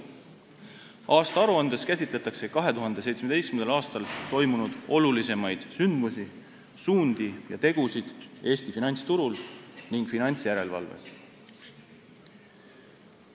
Selles käsitletakse 2017. aastal toimunud olulisemaid sündmusi, suundi ja tegusid Eesti finantsturul ning finantsjärelevalves.